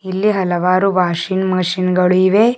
ಇಲ್ಲಿ ಹಲವಾರು washing machine ಗಳು ಇವೆ.